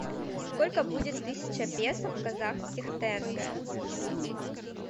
сколько будет тысяча песо в казахских тенге